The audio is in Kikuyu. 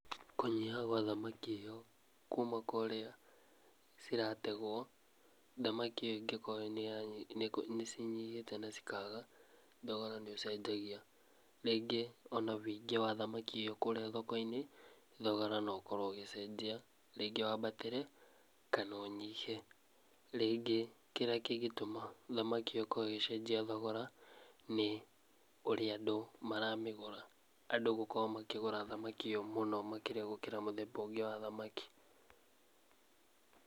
Kũnyiha gwa thamaki ĩyo kuuma kũrĩa cirategwo thamaki ĩyo ĩngĩkorwo nĩ cinyihĩte na cikaga thogora nĩ ũcenjagia rĩngĩ ona nginya ũingĩ wa thamaki ĩyo kũrĩa thokoinĩ thogora no ũkorwo ũgĩcenjia rĩngĩ wambatĩre kana ũnyihe rĩngĩ kĩrĩa kĩngĩtũma thamaki ĩyo ĩgĩcenjia thogora nĩ ũrĩa andũ maramĩgũra andũ gũkorwo makĩgũra thamaki ĩyo mũno makĩrĩa gũkĩra mũthemba ũngĩ wa thamaki.